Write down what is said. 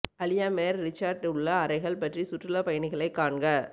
அலியா மேர் ரிசார்ட் உள்ள அறைகள் பற்றி சுற்றுலா பயணிகளை காண்க